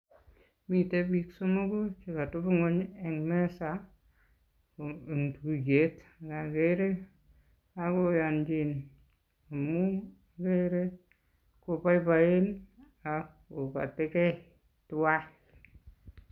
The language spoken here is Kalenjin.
Miten biik somoku chekotebi ng'wony en meza komi tuiyet ngokere kokoyonjin amun okere koboiboen ak kokotikei tuan.